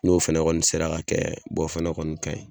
N'o fɛnɛ kɔni sera ka kɛ bɔn o fɛnɛ kɔni kaɲi